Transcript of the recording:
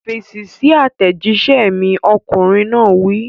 Fèsì sí àtẹ̀jíṣẹ́ mi! Ọkùnrin náà wí.